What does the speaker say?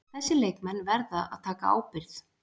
Þessir leikmenn verða að taka ábyrgð.